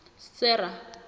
sera